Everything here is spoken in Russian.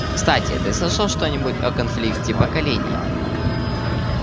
кстати ты слышал что-нибудь о конфликте поколений